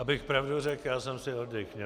Abych pravdu řek', já jsem si oddych'.